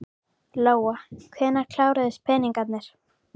Lóa: Hvenær kláruðust peningarnir?